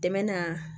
Dɛmɛ na